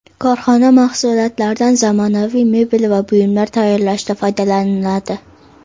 Korxona mahsulotlaridan zamonaviy mebel va buyumlar tayyorlashda foydalaniladi.